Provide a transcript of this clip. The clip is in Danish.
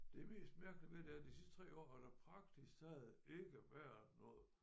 Det mest mærkelige ved det er at de sidste 3 år har der praktisk taget ikke været noget